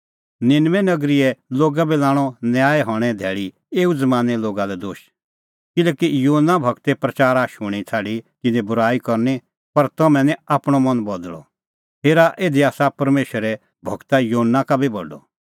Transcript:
निनबे नगरीए लोगा बी लाणअ न्याय हणें धैल़ी एऊ ज़मानें लोगा लै दोश किल्हैकि योना गूरे प्रच़ारा शूणीं छ़ाडी तिन्नैं बूराई करनी पर तम्हैं निं आपणअ मन बदल़अ हेरा इधी आसा परमेशरे गूर योना का बी बडअ